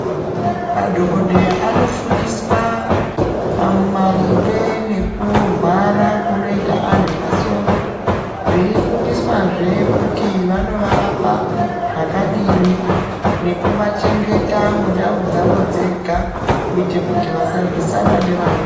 Madhokodheya anofundiswa maringe nekurwara kunoita anhu masoro viekufundiswazve kuti vanovarapa zvakadini nekuvachengeta mundau dzao dzenga kuti vasarwisana nevamweni.